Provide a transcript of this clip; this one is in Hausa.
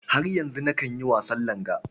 Har yanzu nakan yi wasan langa.